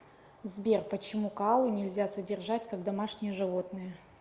сбер почему коалу нельзя содержать как домашнее животное